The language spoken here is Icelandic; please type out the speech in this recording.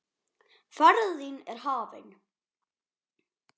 Ferð þín er hafin.